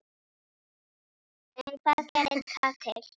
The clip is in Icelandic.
En hvað gerði það til?